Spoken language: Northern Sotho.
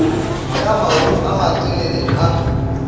ka maoto a matelele a